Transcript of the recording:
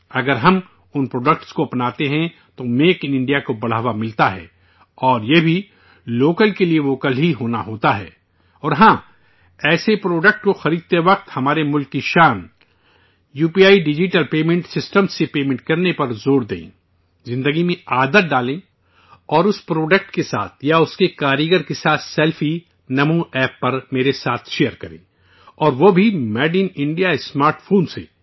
اگر ہم ان پروڈکٹ کو اپناتے ہیں، تو میک ان انڈیا کو فروغ حاصل ہوتا ہے، اور، یہ بھی، 'لوکل فار ووکل' ہی ہونا ہوتا ہے، اور یہاں، ایسے پروڈکٹ کو خریدتے وقت ہمارے ملک کی شان U P I digital payment system سے ادائیگی کرنے میں سبقت حاصل کریں، زندگی میں عادت ڈالیں، اور اس پروڈکٹ کے ساتھ، یا، اس کاریگر کے ساتھ سیلفی 'نمو ایپ' پر میرے ساتھ شیئر کریں اور وہ بھی 'made in India smart phone' سے